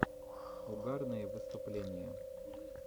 угарные выступления